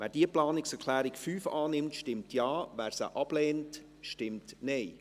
Wer diese Planungserklärung annimmt, stimmt Ja, wer sie ablehnt, stimmt Nein.